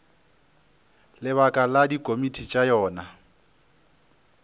lebaka la dikomiti tša yona